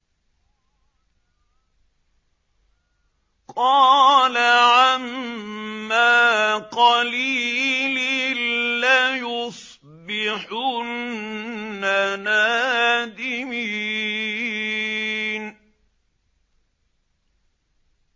قَالَ عَمَّا قَلِيلٍ لَّيُصْبِحُنَّ نَادِمِينَ